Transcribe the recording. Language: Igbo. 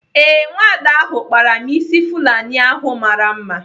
Ee, nwada ahu kpara m ịsị Fulani ahụ mara mma.